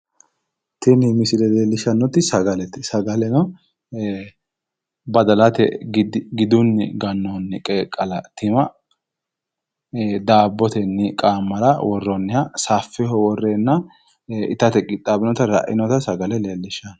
Tini misile leellishshannoti sagalete sagaleno badalate gidunni gannoonni qeeqqala tima daabbotenni qaammara worroonniha saffeho worreenna itate qixxaabbinota sagale leellishshanno.